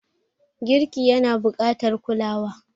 Girki yana buƙatar kulawa.